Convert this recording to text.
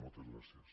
moltes gràcies